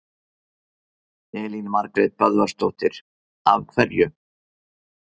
Elín Margrét Böðvarsdóttir: Af hverju?